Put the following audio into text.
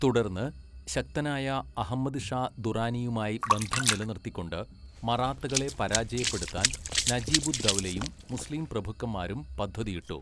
തുടർന്ന്, ശക്തനായ അഹമ്മദ് ഷാ ദുറാനിയുമായി ബന്ധം നിലനിർത്തിക്കൊണ്ട് മറാത്തകളെ പരാജയപ്പെടുത്താൻ നജീബുദ്ദൗലയും മുസ്ലിം പ്രഭുക്കന്മാരും പദ്ധതിയിട്ടു.